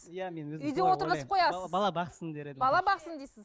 бала бала бақсын бала бақсын дейсіз